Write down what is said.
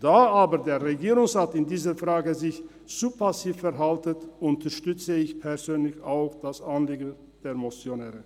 Da sich der Regierungsrat in dieser Frage aber zu passiv verhält, unterstütze ich persönlich auch das Anliegen der Motionäre.